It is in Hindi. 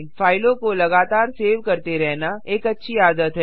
फाइलों को लगातार सेव करते रहना एक अच्छी आदत है